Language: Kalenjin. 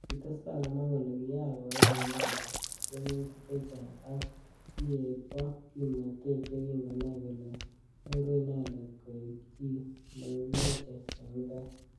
Kitestai komwa kole kiyach koyan inendet tiemutik chechang ak kiek bo kimnatet yekingonai kole nyoru inendet koek chi nekimoche eng tai.